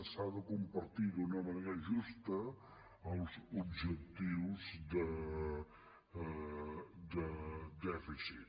s’han de compartir d’una manera justa els objectius de dèficit